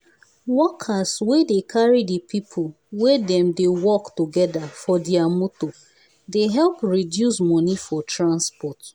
workers wey dey carry the people wey dem dey work together for their motor dey help reduce money for transport.